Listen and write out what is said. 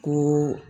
Ko